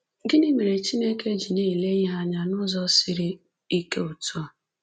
Gịnị mere Chineke ji na-ele ihe anya n’ụzọ siri ike otú a?